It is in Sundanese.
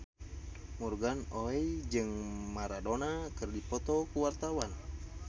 Morgan Oey jeung Maradona keur dipoto ku wartawan